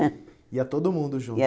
É. Ia todo mundo